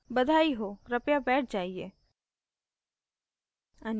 बधाई हो कृपया बैठ जाइये